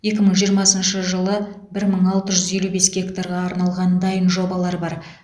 екі мың жиырмасыншы жылы бір мың алты жүз елу бес гектарға арналған дайын жобалар бар